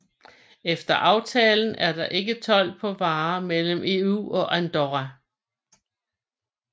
Efter aftalen er det ikke told på varer mellem EU og Andorra